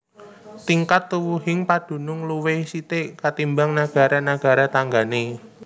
Tingkat tuwuhing padunung luwih sithik katimbang nagara nagara tanggané